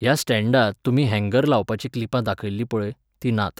ह्या स्टॅण्डांत, तुमी हँगर लावपाचीं क्लिपां दाखयिल्लीं पळय, तीं नात.